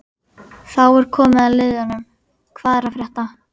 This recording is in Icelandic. Þá er komið að liðnum Hvað er að frétta?